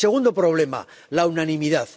Y, segundo problema la unanimidad.